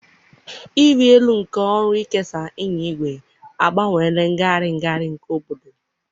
ịrị elu nke ọrụ ịkesa ịnya igwe agbanweela ngagharị ngagharị nke obodo.